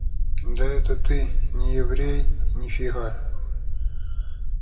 да это ты не еврей ни фига